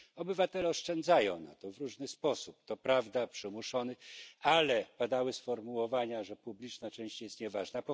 Obywatele oszczędzają na emeryturę w różny sposób, to prawda przymuszony, ale padały sformułowania, że część publiczna jest nieważna.